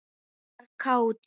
Hún var kát.